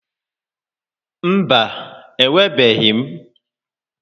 Mba, enwebeghị m.